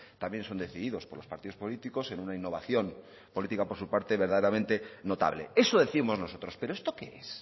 también son decididos por los partidos políticos en una innovación política por su parte verdaderamente notable eso décimos nosotros pero esto qué es